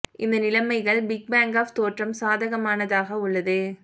இந்த நிலைமைகள் big bang of தோற்றம் சாதகமான ஆக உள்ளது